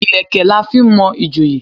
Ìlẹ̀kẹ̀ la fi n mo ìjòyè